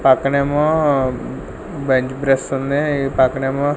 పక్కనేమో బండి బ్రస్సుంది ఈ పక్కనేమో.